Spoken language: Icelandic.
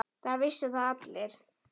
Það vissu það allir.